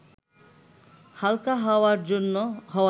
হালকা হওয়ার জন্য